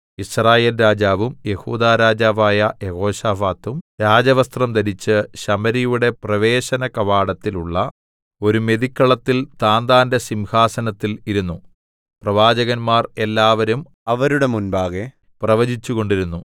യിസ്രായേൽ രാജാവും യെഹൂദാ രാജാവായ യെഹോശാഫാത്തും രാജവസ്ത്രം ധരിച്ച് ശമര്യയുടെ പ്രവേശനകവാടത്തിൽ ഉള്ള ഒരു മെതിക്കളത്തിൽ താന്താന്റെ സിംഹാസനത്തിൽ ഇരുന്നു പ്രവാചകന്മാർ എല്ലാവരും അവരുടെ മുമ്പാകെ പ്രവചിച്ചുകൊണ്ടിരുന്നു